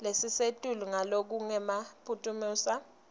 lelisetulu ngalokungenamaphutsa